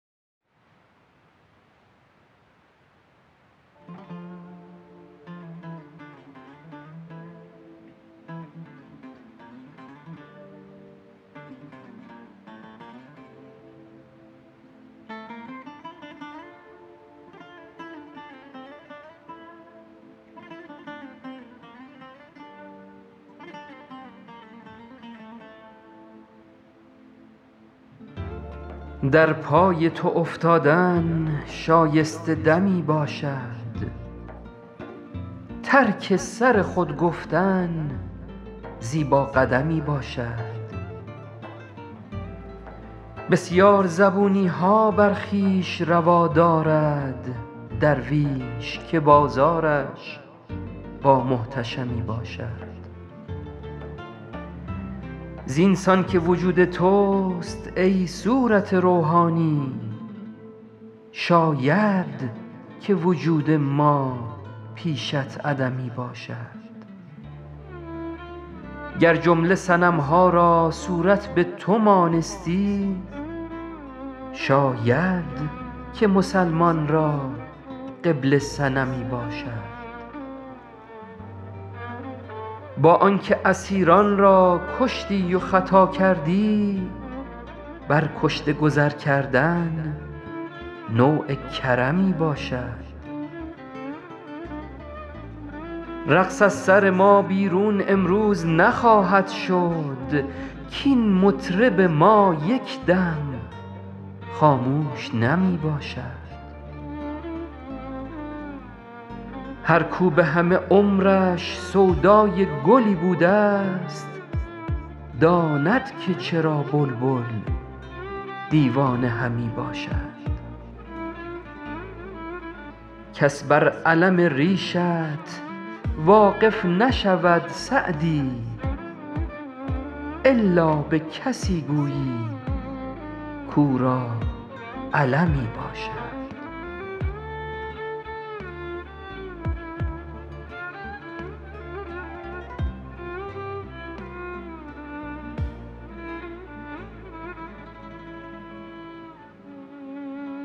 در پای تو افتادن شایسته دمی باشد ترک سر خود گفتن زیبا قدمی باشد بسیار زبونی ها بر خویش روا دارد درویش که بازارش با محتشمی باشد زین سان که وجود توست ای صورت روحانی شاید که وجود ما پیشت عدمی باشد گر جمله صنم ها را صورت به تو مانستی شاید که مسلمان را قبله صنمی باشد با آن که اسیران را کشتی و خطا کردی بر کشته گذر کردن نوع کرمی باشد رقص از سر ما بیرون امروز نخواهد شد کاین مطرب ما یک دم خاموش نمی باشد هر کاو به همه عمرش سودای گلی بوده ست داند که چرا بلبل دیوانه همی باشد کس بر الم ریشت واقف نشود سعدی الا به کسی گویی کاو را المی باشد